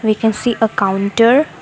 we can see a counter.